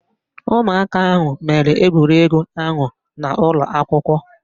Ụmụaka ahụ mere egwuregwu ahụ n'ụlọakwụkwọ